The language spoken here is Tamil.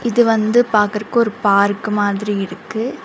இது வந்து பாக்குறக்கு ஒரு பார்க் மாதிரி இருக்கு.